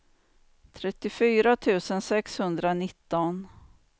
trettiofyra tusen sexhundranitton